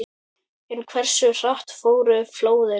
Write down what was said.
En hversu hratt fóru flóðin?